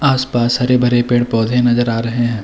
आस-पास हरे-भरे पेड़-पौधे नजर आ रहे हैं।